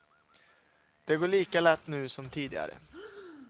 Det går lika lätt nu som tidigare.